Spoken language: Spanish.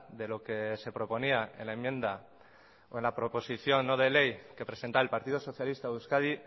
de lo que se proponía en la enmienda o en la proposición no de ley que presenta el partido socialista de euskadi